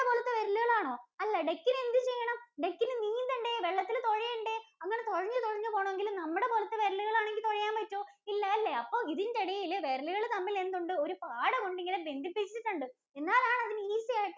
നമ്മുടെ പോലത്തെ വിരലുകളാണോ? അല്ല Duck ഇന് എന്തു ചെയ്യണം? Duck ഇന് നീന്തണ്ടേ? വെള്ളത്തില്‍ തൊഴയണ്ടേ? അങ്ങനെ തൊഴഞ്ഞു തൊഴഞ്ഞു പോണമെങ്കില്‍ നമ്മുടെ പോലത്തെ വിരലുകള്‍ ആണെങ്കില്‍ തൊഴയാന്‍ പറ്റോ? ഇല്ല അല്ലേ, അപ്പോ ഇതിന്‍റിടയില് വിരലുകള്‍ തമ്മില്‍ എന്തുണ്ട്? ഒരു പാടകൊണ്ട് ഇങ്ങനെ ബന്ധിപ്പിച്ചിട്ടുണ്ട്. എന്നാലാനതിന് easy ആയിട്ട്